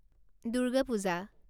Durga Puja